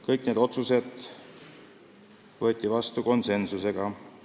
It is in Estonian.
Kõik otsused võeti vastu konsensusega.